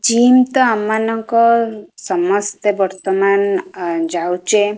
Gym ତ ଆମ ମାନଙ୍କ ସମସ୍ତେ ବର୍ତ୍ତମାନ ଆ ଯାଉଚେ।